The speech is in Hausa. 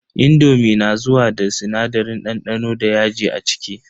indomi na zuwa da sinadarin dandano da yaji a ciki.